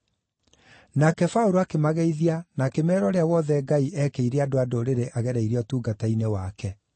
Nake Paũlũ akĩmageithia na akĩmeera ũrĩa wothe Ngai eekĩire andũ-a-Ndũrĩrĩ agereire ũtungata-inĩ wake.